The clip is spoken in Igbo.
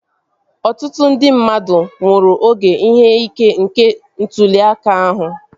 Ọtụtụ ndị mmadụ nwụrụ oge ihe ike nke ntụli aka ahụ